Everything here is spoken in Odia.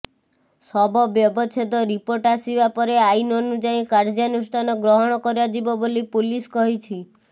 ଶବ ବ୍ୟବଚ୍ଛେଦ ରିପୋର୍ଟ ଆସିବା ପରେ ଆଇନ ଅନୁଯାୟୀ କାର୍ଯ୍ୟାନୁଷ୍ଠାନ ଗ୍ରହଣ କରାଯିବ ବୋଲି ପୁଲିସ କହିଛି